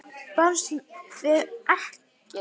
Barðist við ekkann.